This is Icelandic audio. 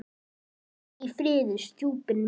Hvíl í friði, stjúpi minn.